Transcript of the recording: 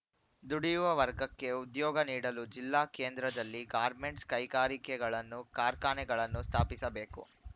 ದುಡಿಯುವ ವರ್ಗಕ್ಕೆ ಉದ್ಯೋಗ ನೀಡಲು ಜಿಲ್ಲಾ ಕೇಂದ್ರದಲ್ಲಿ ಗಾರ್ಮೆಂಟ್ಸ್‌ ಕೈಗಾರಿಕೆಗಳನ್ನು ಕಾರ್ಖಾನೆಗಳನ್ನು ಸ್ಥಾಪಿಸಬೇಕು